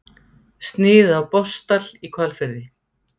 Snið af Botnsdal í Hvalfirði.